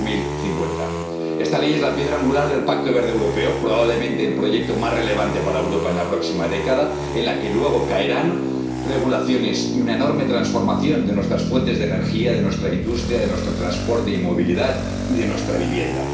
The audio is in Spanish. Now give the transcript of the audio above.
2050. Esta Ley es la piedra angular del Pacto Verde Europeo, probablemente el proyecto más relevante para Europa en la próxima década, en la que luego habrá regulaciones y una enorme transformación de nuestras fuentes de energía, de nuestra industria, de nuestro transporte y movilidad y de nuestra vivienda.